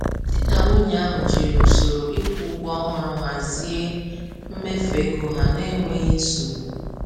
Di na nwunye ahụ jiri usoro ịkwụ ụgwọ ọhụrụ hazie mmefu ego ha n’enweghị nsogbu.